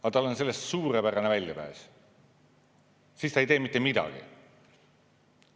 Aga tal on sellest suurepärane väljapääs: siis ta ei tee mitte midagi.